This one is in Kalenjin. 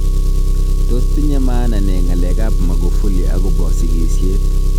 Tos tinye maana ne ng'alek ab Magufuli akobo sigisyet